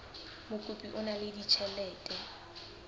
mokopi o na le ditjhelete